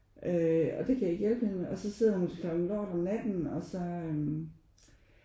Og det kan jeg ikke hjælpe med og så sidder hun til klokken lort om natten og så øh